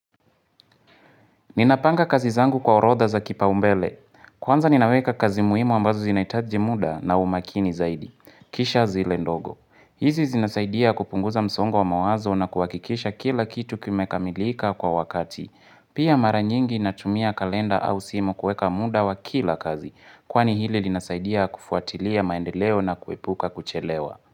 Ninapanga kazi zangu kwa orodha za kipaumbele. Kwanza ninaweka kazi muhimu ambazo zinahitaji muda na umakini zaidi. Kisha zile ndogo. Hizi zinasaidia kupunguza msongo wa mawazo na kuhakikisha kila kitu kimekamilika kwa wakati. Pia maranyingi natumia kalenda au simu kuweka muda wa kila kazi. Kwani hili linasaidia kufuatilia maendeleo na kuepuka kuchelewa.